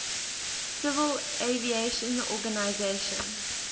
civil aviation organization